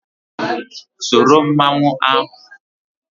Soro mmanwụ ahụ.